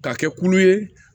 Ka kɛ kulu ye